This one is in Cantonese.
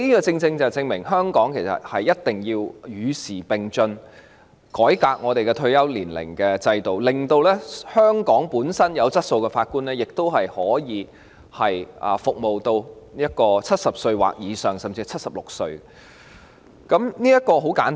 這正好證明了香港必須與時並進，改革法官的退休制度，令香港具備質素的法官亦可服務至70歲或以上，甚至是76歲，這個道理很簡單。